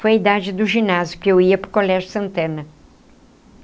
Foi a idade do ginásio que eu ia para o Colégio Santana.